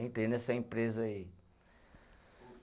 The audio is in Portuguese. Entrei nessa empresa aí.